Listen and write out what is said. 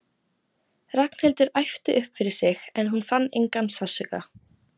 Ragnhildur æpti upp yfir sig en hún fann engan sársauka.